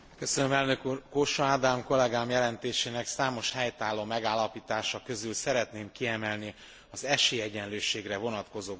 Kósa Ádám kollégám jelentésének számos helytálló megállapítása közül szeretném kiemelni az esélyegyenlőségre vonatkozó gondolatokat.